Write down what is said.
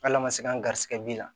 Hal'a ma se an garisɛgɛ bi la